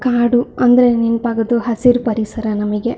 ಕಾಡು ಅಂದರೆ ನೆನಪಾಗೋದು ಹಸಿರು ಪರಿಸರ ನಮಗೆ.